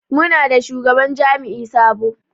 Muna da shugaban jami'i sabo.